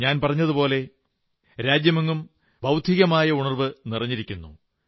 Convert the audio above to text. ഞാൻ പറഞ്ഞതുപോലെ രാജ്യമെങ്ങും ബൌദ്ധികമായ ഉണർവ്വ് നിറഞ്ഞിരിക്കുന്നു